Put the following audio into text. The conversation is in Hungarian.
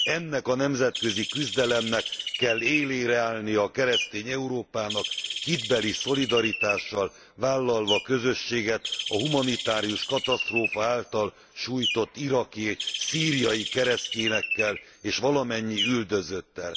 Ennek a nemzetközi küzdelemnek kell élére állni a keresztény Európának, hitbeli szolidaritással vállalva közösséget a humanitárius katasztrófa által sújtott iraki, szíriai keresztényekkel, és valamennyi üldözöttel.